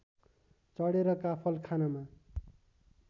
चढेर काफल खानमा